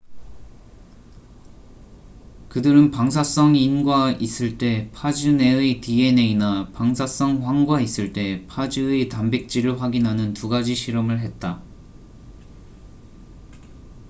그들은 방사성 인과 있을 때 파즈 내의 dna나 방사성 황과 있을 때 파즈의 단백질을 확인하는 두 가지 실험을 했다